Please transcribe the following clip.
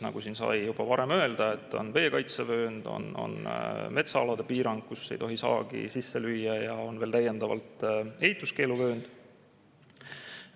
Nagu siin sai juba varem öeldud, on veekaitsevöönd, on metsaalade piirang, kus ei tohi saagi sisse lüüa, ja on veel täiendavalt ehituskeeluvöönd.